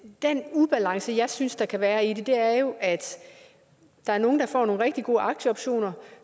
den ubalance jeg synes der kan være i det er jo at der er nogle der får nogle rigtig gode aktieoptioner